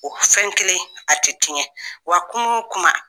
O fɛn kelen a tɛ tiɲɛ wa kunun kuma